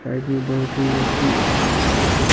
side में बहुत ही अच्छी अच्छा --